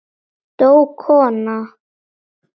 Dó kona?